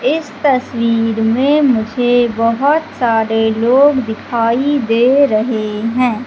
इस तस्वीर में मुझे बहोत सारे लोग दिखाई दे रहे हैं।